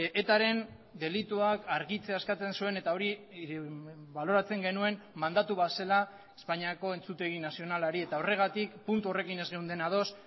etaren delituak argitzea eskatzen zuen eta hori baloratzen genuen mandatu bat zela espainiako entzutegi nazionalari eta horregatik puntu horrekin ez geunden ados